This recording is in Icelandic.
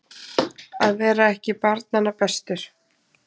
Að vera ekki barnanna bestur